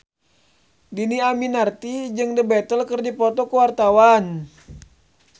Dhini Aminarti jeung The Beatles keur dipoto ku wartawan